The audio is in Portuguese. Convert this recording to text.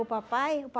O papai o